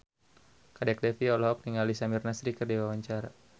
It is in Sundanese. Kadek Devi olohok ningali Samir Nasri keur diwawancara